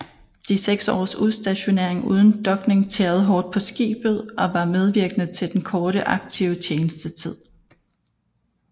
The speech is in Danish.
De seks års udstationering uden dokning tærede hårdt på skibet og var medvirkende til den korte aktive tjenestetid